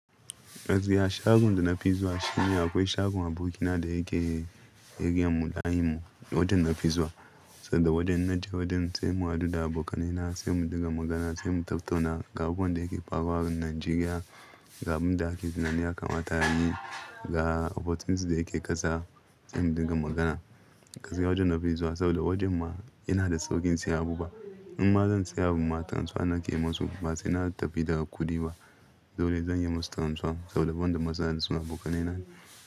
Gaskiya shagon da na fi zuwa shine akwai shagon abokina da yake, yake yi a Mudanyimu, wajen na fi zuwa saboda wajen na je wajen sai mu haɗu da abokanai na, sai mu dinga magana, sai mu tattauna ga abubuwan da yake faruwa a Najeriya, ga abin da ake tunani yakamata mata ayi ga opportunities da yake ƙasa, sai mu dinga magana. Gaskiya wajen na fi zuwa saboda wajen ma yana da saukin siya abu ba. In ma zan siya abu ma, tanuwa nake yi musu. Ba sai na tafi da kuɗi ba, dole zan yi musu tanuwa saboda wan da masa suna abokanai na ne.